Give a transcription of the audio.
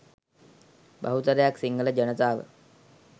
බහුතරයක් සිංහල ජනතාව